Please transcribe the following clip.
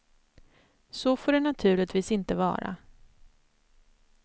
Så får det naturligtvis inte vara.